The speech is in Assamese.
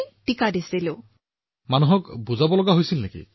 আচ্ছা মানুহক বুজাব লগীয়া হৈছিল নেকি